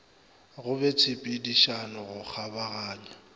go be tshepedišano go kgabaganya